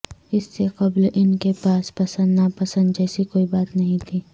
اس سے قبل ان کے پاس پسند نا پسند جیسی کوئی بات نہیں تھی